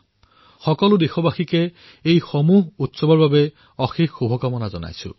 আপোনালোক সকলো দেশবাসীক এই সকলো উৎসৱৰ অশেষ শুভ কামনা যাচিলোঁ